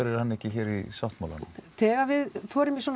er hann ekki hér í sáttmálanum þegar við förum í svona